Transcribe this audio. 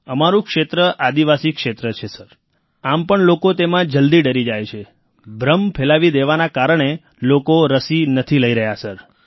અમારું ક્ષેત્ર આદિવાસી ક્ષેત્ર છે સર આમ પણ લોક તેમાં જલદી ડરી જાય છે ભ્રમ ફેલાવી દેવાના કારણે લોકો રસી નથી લઈ રહ્યા સર